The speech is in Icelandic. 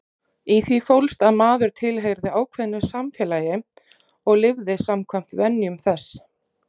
Í því fólst að maður tilheyrði ákveðnu samfélagi og lifði samkvæmt venjum þess.